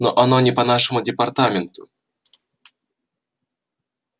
но оно не по нашему департаменту